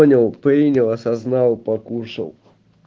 понял принял осознал покушал